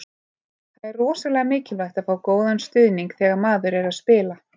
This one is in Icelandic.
Það er rosalega mikilvægt að fá góðan stuðning þegar maður er að spila.